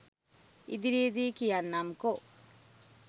ඉදිරියේදී කියන්නම්කෝ